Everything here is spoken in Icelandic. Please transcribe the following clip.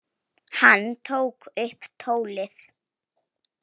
Hann tók upp tólið.